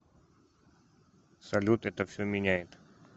салют это все меняет